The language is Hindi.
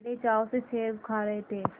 वे बड़े चाव से सेब खा रहे थे